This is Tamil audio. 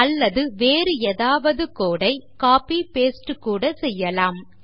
அல்லது வேறு ஏதாவது code ஐ copyபாஸ்டே கூட செய்யலாம்